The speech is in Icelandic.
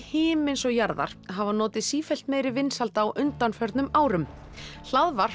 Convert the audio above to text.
himins og jarðar hafa notið sífellt meiri vinsælda á undanförnum árum